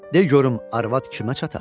de görüm arvad kimə çatar?